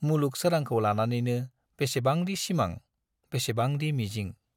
मुलुग सोरांखौ लानानैनो बेसेबांदि सिमां, बेसेबांदि मिजिंक!